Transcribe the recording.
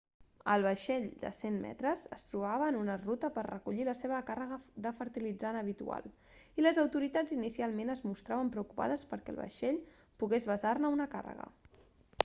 el vaixell de 100 metres es trobava en ruta per a recollir la seva càrrega de fertilitzant habitual i les autoritats inicialment es mostraven preocupades perquè el vaixell pogués vessar-ne una càrrega